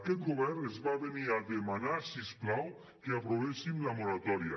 aquest govern ens va venir a demanar si us plau que aprovéssim la moratòria